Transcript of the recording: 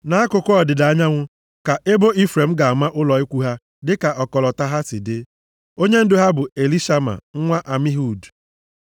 Nʼakụkụ ọdịda anyanwụ ka ebo Ifrem ga-ama ụlọ ikwu ha dịka ọkọlọtọ ha si dị. Onyendu ha bụ Elishama nwa Amihud.